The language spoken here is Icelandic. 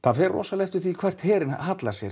það fer eftir því hvert herinn hallar sér